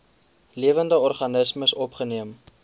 lewende organismes opgeneem